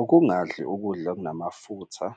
Ukungadli ukudla okunamafutha